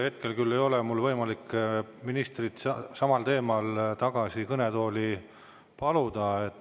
Hetkel küll ei ole mul võimalik ministrit tagasi kõnetooli samal teemal paluda.